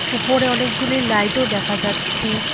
উপরে অনেকগুলি লাইটও দেখা যাচ্ছে।